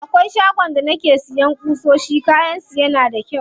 Akwai shagon da nake siya ƙusoshi, kayan su yana da kyau.